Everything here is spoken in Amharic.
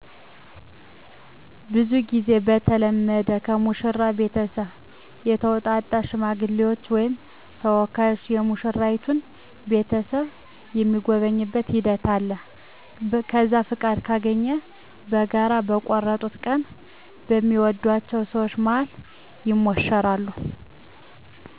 ብዙ ጊዜ የተለመደዉ ከሙሽራው ቤተሰብ የተውጣጡ ሽማግሌዎች ወይም ተወካዮች የሙሽራይቱን ቤተሰብ የሚጎበኙበት ሂደት አለ። ከዛም ፍቃድ ካገኙ በጋራ በቆርጡት ቀን በሚወድአቸው ሰወች መሀል ይሞሸራሉ።